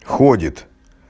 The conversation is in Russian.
ходит